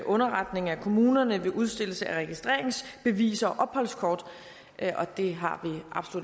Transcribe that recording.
underretning af kommunen ved udstedelse af registreringsbeviser og opholdskort og det har